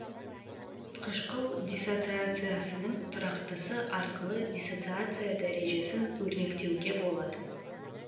қышқыл диссоциациясының тұрақтысы арқылы диссоциация дәрежесін өрнектеуге болады